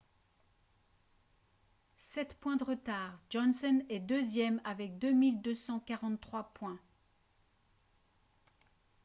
sept points de retard johnson est deuxième avec 2243 points